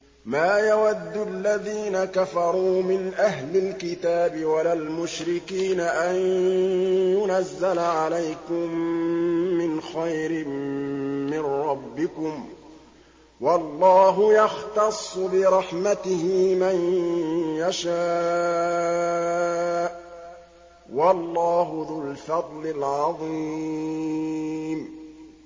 مَّا يَوَدُّ الَّذِينَ كَفَرُوا مِنْ أَهْلِ الْكِتَابِ وَلَا الْمُشْرِكِينَ أَن يُنَزَّلَ عَلَيْكُم مِّنْ خَيْرٍ مِّن رَّبِّكُمْ ۗ وَاللَّهُ يَخْتَصُّ بِرَحْمَتِهِ مَن يَشَاءُ ۚ وَاللَّهُ ذُو الْفَضْلِ الْعَظِيمِ